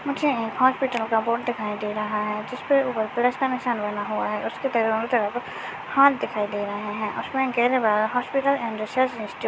मुझे हॉस्पिटल का बोर्ड दिखाई दे रहा है जिसपर ऊपर प्लस का निशान बना हुआ है उसके हाथ दिखाई दे रहे है हॉस्पिटल अँड रिसर्च इंस्टि--